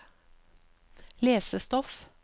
lesestoff